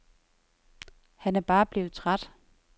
Han er bare blevet træt.